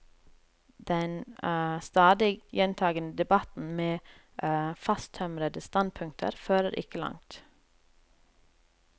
Den stadig gjentagende debatten, med fasttømrede standpunkter, fører ikke langt.